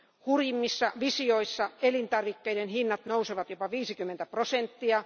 Hurjimmissa visioissa elintarvikkeiden hinnat nousevat jopa 50 prosenttia.